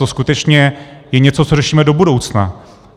To skutečně je něco, co řešíme do budoucna.